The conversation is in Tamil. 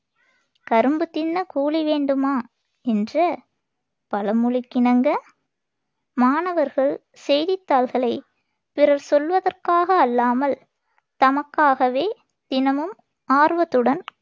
கரும்பு தின்ன கூலி வேண்டுமா? என்ற பழமொழிக்கிணங்க, மாணவர்கள் செய்தித்தாள்களைப் பிறர் சொல்வதற்காக அல்லாமல் தமக்காகவே தினமும் ஆர்வத்துடன்